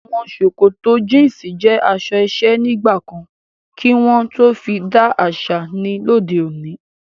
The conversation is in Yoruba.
Awọn sòkòtò jínsí jẹ aṣọ iṣẹ̀ nigbakàn kí wọn fí dì aṣa ní lọdẹ̀ ọ̀nì